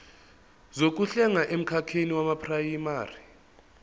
zokuhlenga emkhakheni weprayimari